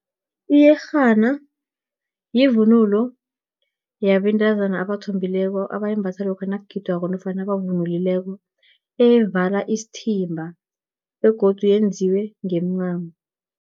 Iyerhana, yivunulo yabentazana abathombileko, abayimbatha lokha nakugidwako, nofana abavunulileko eyevala isithimba, begodu yenziwe ngemincamo.